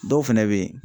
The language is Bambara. Dɔw fɛnɛ be yen